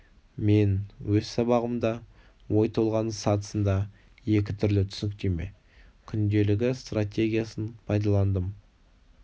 мен өз сабағымда ой толғаныс сатысында екі түрлі түсініктеме күнделігі стратегиясын пайдаландым